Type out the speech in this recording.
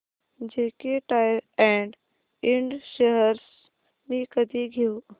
JK tyre and ind shares मी कधी घेऊ